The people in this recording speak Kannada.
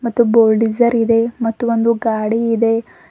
ಮತ್ತು ಬೋಲ್ಡಿಜರ್ ಇದೆ ಮತ್ತು ಒಂದು ಗಾಡಿ ಇದೆ.